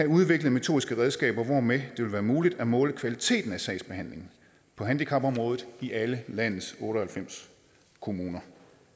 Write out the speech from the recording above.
udvikle metodiske redskaber hvormed det vil være muligt at måle kvaliteten af sagsbehandlingen på handicapområdet i alle landets otte og halvfems kommuner